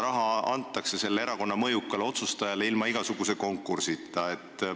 Raha antakse aga selle erakonna mõjukale otsustajale ilma igasuguse konkursita.